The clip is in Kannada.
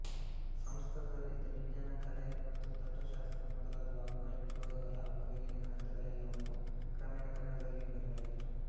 ಸಂಸ್ಕೃತದಲ್ಲಿದ್ದ ವಿಜ್ಞಾನ ಕಲೆ ಮತ್ತು ತತ್ತ್ವಶಾಸ್ತ್ರ ಮೊದಲಾದ ವಾಙ್ಮಯ ವಿಭಾಗಗಳ ಬಗೆಗಿನ ಗ್ರಂಥಗಳೆಲ್ಲವನ್ನೂ ಕ್ರಮೇಣ ಕನ್ನಡದಲ್ಲಿಯೂ ಬರೆಯಲಾಯಿತು